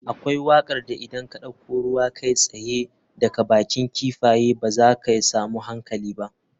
Akwai wakar da idan ka dauko ruwa kai tsaye daga bakin kifaye ba za ka samu hankali ba.